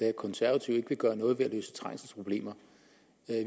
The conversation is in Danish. at konservative ikke vil gøre noget for at løse trængselsproblemer